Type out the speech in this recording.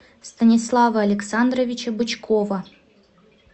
станислава александровича бычкова